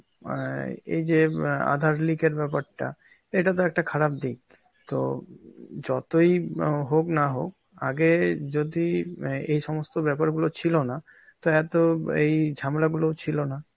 অ্যাঁ এইযে ম্যাঁ আ আধার leak এর ব্যাপারটা, এটাতো একটা খারাপ দিক. তো যতই অ হোক না হোক আগে যদি আঁ এই সমস্ত ব্যাপারগুলো ছিল না তো এত এই ঝামেলা গুলোও ছিল না.